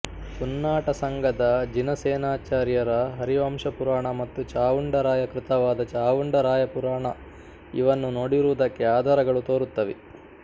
ಪುನ್ನಾಟಸಂಘದ ಜಿನಸೇನಾಚಾರ್ಯರ ಹರಿವಂಶಪುರಾಣ ಮತ್ತು ಚಾವುಂಡರಾಯ ಕೃತವಾದ ಚಾವುಂಡರಾಯಪುರಾಣ ಇವನ್ನು ನೋಡಿರುವುದಕ್ಕೆ ಆಧಾರಗಳು ತೋರುತ್ತವೆ